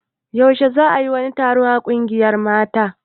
Yaushe za a yi wani taro a ƙungiyar mata?